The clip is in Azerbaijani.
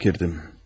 Fakirdim.